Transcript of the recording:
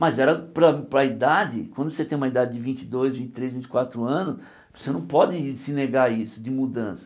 Mas era para a para a idade, quando você tem uma idade de vinte e dois, vinte e três, vinte e quatro anos, você não pode se negar isso de mudança.